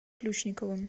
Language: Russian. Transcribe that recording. ключниковым